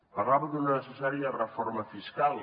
parlava d’una necessària reforma fiscal